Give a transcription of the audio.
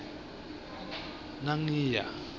nangiya